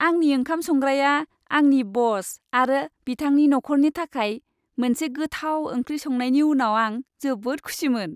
आंनि ओंखाम संग्राया आंनि बस आरो बिथांनि नखरनि थाखाय मोनसे गोथाव ओंख्रि संनायनि उनाव आं जोबोद खुसिमोन।